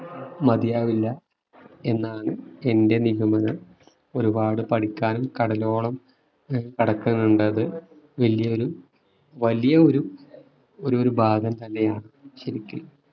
മതിയാവില്ല എന്നാണ് എന്റെ നിഗമനം. ഒരുപാട് പഠിക്കാനും കടലോളം കിടക്കുന്നുണ്ടത് വലിയൊരു വലിയൊരു ഭാഗം തന്നെയാണ് ശരിക്ക്